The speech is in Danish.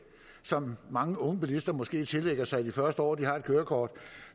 som mange unge bilister måske tillægger sig det første år de har et kørekort